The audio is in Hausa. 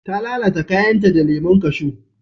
ta lalata kayan ta da lemon kashu